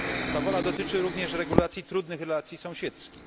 Ta wola dotyczy również regulacji trudnych relacji sąsiedzkich.